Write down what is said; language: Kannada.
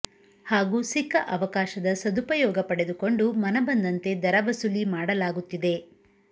ಹಾಗೂ ಸಿಕ್ಕ ಅವಕಾಶದ ಸದುಪಯೋಗ ಪಡೆದುಕೊಂಡು ಮನ ಬಂದಂತೆ ದರ ವಸೂಲಿ ಮಾಡಲಾಗುತ್ತಿದೆ